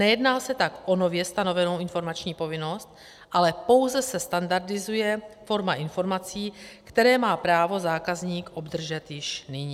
Nejedná se tak o nově stanovenou informační povinnost, ale pouze se standardizuje forma informací, které má právo zákazník obdržet již nyní.